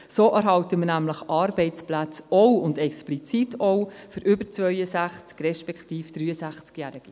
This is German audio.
So erhalten wir nämlich auch Arbeitsplätze, explizit auch für über 62- respektive 63-Jährige.